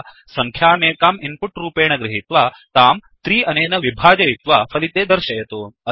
तथा सङ्ख्यामेकां इन्पुट् रूपेण गृहीत्वा तां 3 अनेन विभाजयित्वा फलिते दर्शयतु